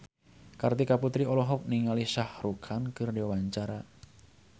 Kartika Putri olohok ningali Shah Rukh Khan keur diwawancara